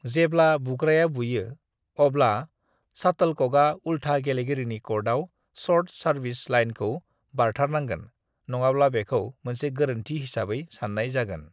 "जेब्ला बुग्राया बुयो, अब्ला शाटलकका उल्था गेलेगिरिनि कर्टआव शर्ट सार्विस लाइनखौ बारथारनांगोन नङाब्ला बेखौ मोनसे गोरोन्थि हिसाबै सान्नाय जागोन।"